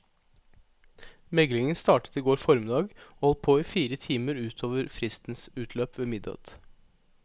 Meglingen startet i går formiddag og holdt på i fire timer ut over fristens utløp ved midnatt.